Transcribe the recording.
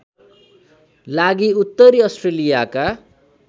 लागि उत्तरी अस्ट्रेलियाका